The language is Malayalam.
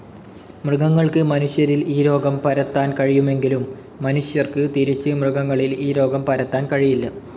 മൃഗങ്ങൾക്ക് മനുഷ്യരിൽ ഈ രോഗം പരത്താൻ കഴിയുമെകിലും മനുഷ്യർക്ക് തിരിച്ച് മൃഗങ്ങളിൽ ഈ രോഗം പരത്താൻ കഴിയില്ല.